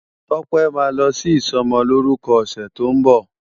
Tope má lò si isòmòlórùkò òsè tó n bo